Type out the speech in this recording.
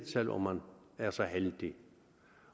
selv om man er så heldig